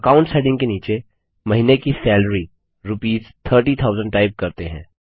accounts heading के नीचे महीने की सैलरी रूपीस 30000 टाइप करते हैं